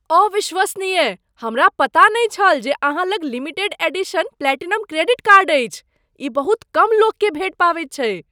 अविश्वसनीय ! हमरा पता नहि छल जे अहाँ लग limited edition platinum credit card अछि। ई बहुत कम लोककेँ भेटि पबैत छैक।